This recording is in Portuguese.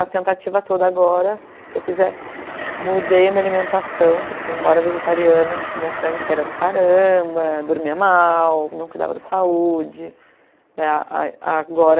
A tentativa toda agora que eu fiz é, mudei a minha alimentação, porque embora vegetariana, comia tranqueira para caramba, dormia mal, não cuidava da saúde, daí a agora